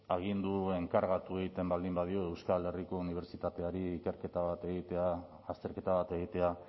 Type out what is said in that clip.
agindu enkargatu egiten baldin badio euskal herriko unibertsitateari ikerketa bat egitea azterketa bat egitea